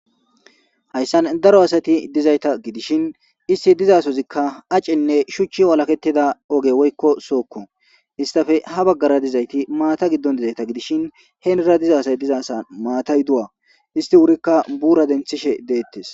Hayssan daro asati dizayta gidishin isti dizasozikka acenne shuchchi walaketida oge woykko sookko istafe ha baggara dizayti maata giddon dizayta gidishin heenira dizaasay diza sa maatay du'a isti wurikka buura denthishe deettes.